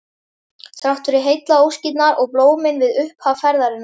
Þrátt fyrir heillaóskirnar og blómin við upphaf ferðarinnar.